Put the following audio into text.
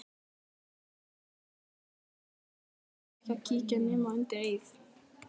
Óviðkomandi fengu ekki að kíkja nema undir eið.